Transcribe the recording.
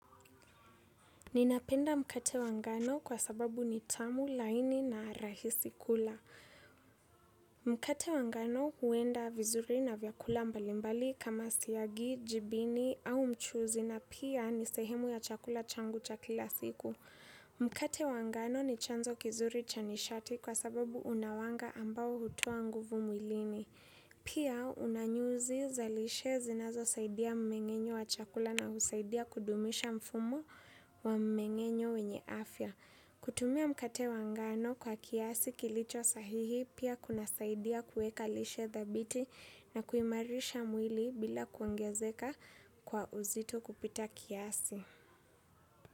Ninapenda mkate wangano kwa sababu ni tamu laini na rahisi kula. Mkate wa ngano huenda vizuri na vyakula mbalimbali kama siyagi, jibini au mchuzi na pia ni sehemu ya chakula changu cha kila siku. Mkate wa ngano ni chanzo kizuri cha nishati kwa sababu unawanga ambao hutua nguvu mwilini. Pia unanyuzi za lishe zinazo saidia mmengenyo wa chakula na usaidia kudumisha mfumo wa mmengenyo wenye afya. Kutumia mkate wa ngano kwa kiasi kilicho sahihi pia kuna saidia kueka lishe thabiti na kuimarisha mwili bila kwongezeka kwa uzito kupita kiasi.